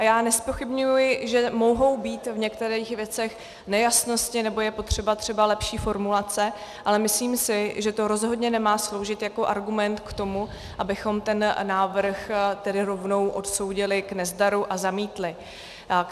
A já nezpochybňuji, že mohou být v některých věcech nejasnosti nebo je potřeba třeba lepší formulace, ale myslím si, že to rozhodně nemá sloužit jako argument k tomu, abychom ten návrh tedy rovnou odsoudili k nezdaru a zamítli.